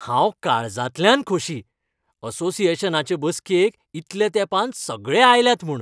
हांव काळजांतल्यान खोशी, असोसिएशनाचे बसकेक इतल्या तेंपान सगळे आयल्यात म्हूण.